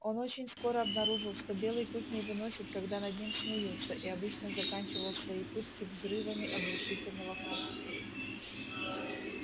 он очень скоро обнаружил что белый клык не выносит когда над ним смеются и обычно заканчивал свои пытки взрывами оглушительного хохота